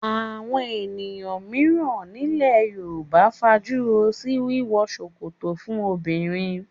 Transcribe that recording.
Àwọn èèyàn mìíràn nílẹ̀ Yorùbá fajúro sí wíwọ ṣòkòtò fún obìnrin